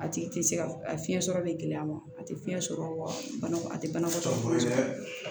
A tigi tɛ se ka a fiɲɛ sɔrɔ bi gɛlɛya ma a tɛ fiɲɛ sɔrɔ wa banakɔ a tɛ banakɔtɔ